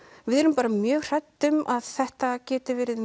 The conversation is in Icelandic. við erum bara mjög hrædd um að þetta geti verið